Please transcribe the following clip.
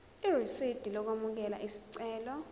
irisidi lokwamukela isicelo